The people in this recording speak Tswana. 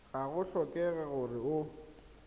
ga go tlhokege gore o